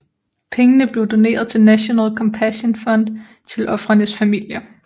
Pengene blev doneret til National Compassion Fund til ofrenes familier